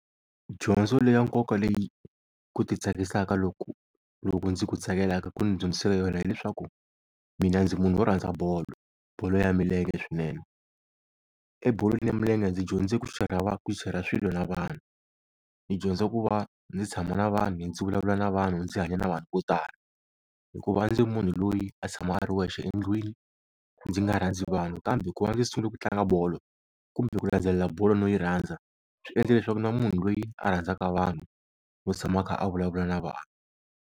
Dyondzo leya nkoka leyi ku ti tsakisaka loku loku ndzi ku tsakelaka ku ni dyondziseke yona hi leswaku, mina ndzi munhu wo rhandza bolo, bolo ya milenge swinene. Ebolweni ya milenge ndzi dyondze ku share-ra swilo na vanhu ni dyondza ku va ndzi tshama na vanhu ndzi vulavula na vanhu, ndzi hanya na vanhu vo tala, hikuva a ndzi ri munhu loyi a tshama a ri wexe endlwini ndzi nga rhandzi vanhu. Kambe ku va ndzi sungule ku tlanga bolo kumbe ku landzelela bolo no yi rhandza, swi endle leswaku ni va munhu loyi a rhandzaka vanhu vo tshama a kha a vulavula na vanhu.